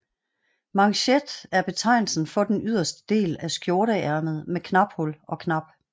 Manchet er betegnelsen for den yderste del af skjorteærmet med knaphul og knap